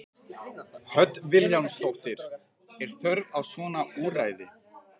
Hödd Vilhjálmsdóttir: Er þörf á svona úrræði?